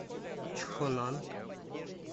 чхонан